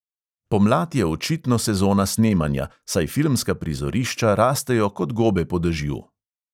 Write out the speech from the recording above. Pomlad je očitno sezona snemanja, saj filmska prizorišča rastejo kot gobe po dežju.